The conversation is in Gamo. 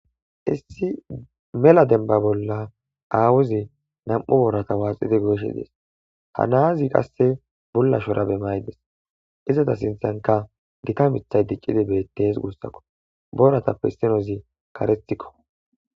Issi mela dembba bolla aawu zee; naam7u booratha waaxide goyishee des; ha naazi qassi bulla shuraabe maayi des; izatha sinththankka githa miththay diccidi beeththees guussakko; boorathappe issoyzi kareththakko.